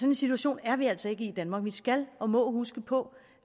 en situation er vi altså ikke i i danmark vi skal og må huske på